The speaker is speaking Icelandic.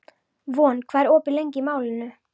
Von, hvað er opið lengi í Málinu?